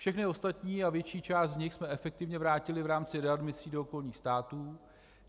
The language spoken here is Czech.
Všechny ostatní a větší část z nich jsme efektivně vrátili v rámci readmisí do okolních států.